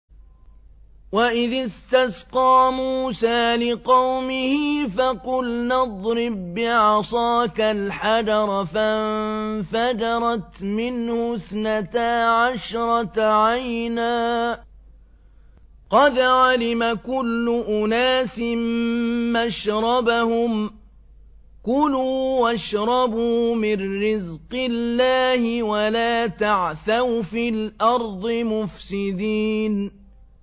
۞ وَإِذِ اسْتَسْقَىٰ مُوسَىٰ لِقَوْمِهِ فَقُلْنَا اضْرِب بِّعَصَاكَ الْحَجَرَ ۖ فَانفَجَرَتْ مِنْهُ اثْنَتَا عَشْرَةَ عَيْنًا ۖ قَدْ عَلِمَ كُلُّ أُنَاسٍ مَّشْرَبَهُمْ ۖ كُلُوا وَاشْرَبُوا مِن رِّزْقِ اللَّهِ وَلَا تَعْثَوْا فِي الْأَرْضِ مُفْسِدِينَ